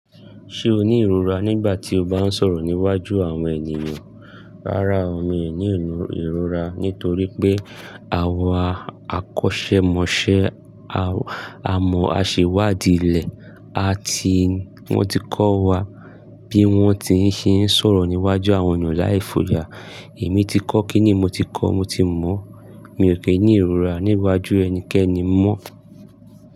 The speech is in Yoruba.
Ṣé o ní ìrora nígbà tí o bá ń sọ̀rọ̀ níwájú àwọn ènìyàn? Rárá, mi ò ní ìlú ìrora nítorí pé àwa akọ́ṣẹ́mọṣẹ́ a mọ àsèwádìí ilẹ̀ a ti wọ́n ti kọ́ wa bí wọ́n ti ń ṣe sọ̀rọ̀ níwájú àwọn ènìyàn láì fòya. Emi tí kọ́ kíni mo ti kọ́ mo ti mọ̀, mi ò kí ní ìrora níwájú ẹnikẹ́ni mọ́.